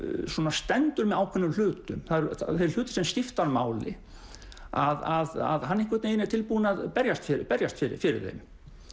stendur með ákveðnum hlutum þeir hlutir sem skipta hann máli að hann einhvern veginn er tilbúinn að berjast berjast fyrir fyrir þeim